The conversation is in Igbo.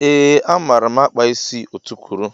Ee a maara m akpa isi ọtukwuru.